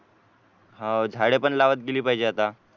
हो झाड पण लावत गेली पाहिजे आता